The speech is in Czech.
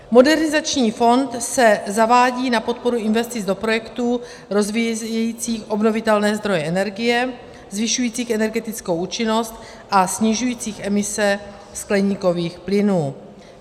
Modernizační fond se zavádí na podporu investic do projektů rozvíjejících obnovitelné zdroje energie, zvyšujících energetickou účinnost a snižujících emise skleníkových plynů.